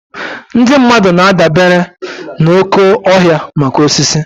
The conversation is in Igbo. Ndị mmadụ na-adabere n'oké ọhịa maka osisi.